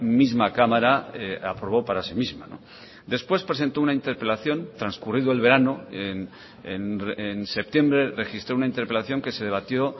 misma cámara aprobó para sí misma después presentó una interpelación transcurrido el verano en septiembre registró una interpelación que se debatió